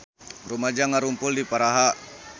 Rumaja ngarumpul di Praha